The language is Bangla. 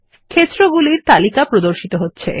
ক্ষেত্রগুলির তালিকা প্রদর্শিত হচ্ছে